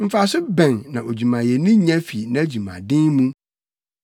Mfaso bɛn na odwumayɛni nya fi nʼadwumaden mu?